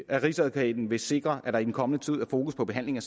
at rigsadvokaten vil sikre at der i den kommende tid er fokus på behandlingen